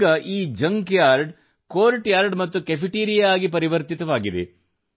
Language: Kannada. ಈಗ ಈ ಜಂಕ್ ಯಾರ್ಡ್ ಅನ್ನು ಕೋರ್ಟ್ ಯಾರ್ಡ್ ಮತ್ತು ಕೆಫೇಟೇರಿಯಾ ಆಗಿ ಪರಿವರ್ತಿಸಲಾಗಿದೆ